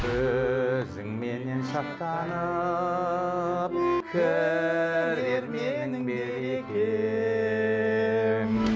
өзіңменен шаттанып кірер менің берекем